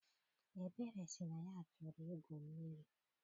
Ebere sị na ya chọrọ igwu mmiri.